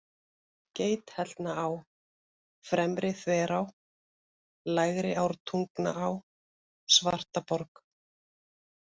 Geithellnaá, Fremri-Þverá, Lægri-Ártungnaá, Svartaborg